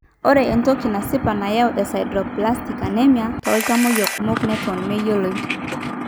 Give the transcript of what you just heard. ore entoki nasipa nayau eSideroblastic anemia tooltamuoyia kumok neton meyioloi.